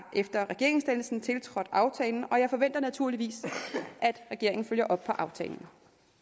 efter regeringsdannelsen tiltrådt aftalen og jeg forventer naturligvis at regeringen følger op på aftalen